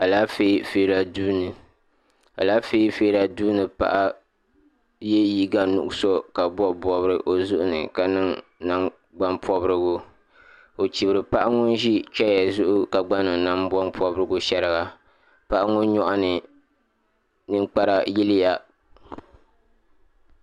Alaafee feera duuni alaafee feera duuni paɣa ye liiga nuɣuso ka bobi bobiri o zuɣuni ka niŋ nangban pobrigu o chibri paɣa ŋun ʒi cheya zuɣu ka gba niŋ nangban pobrigu sheriga paɣa ŋɔ nyɔɣuni ninkpara yiliya.